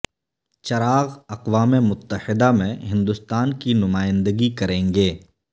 چراغ اقوام متحدہ میں ہندستان کی نمائندگی کریں گے